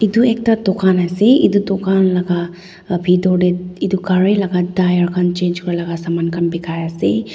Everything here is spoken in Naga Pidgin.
itu ekta dukan ase itu dukan laga pitor teh itu gari laga tyre khan change kura laga saman khan bikai ase.